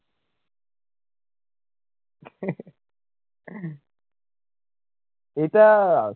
এটা